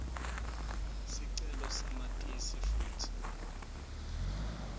sicelo samatisi futsi